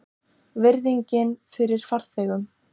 Virðingin fyrir farþegum?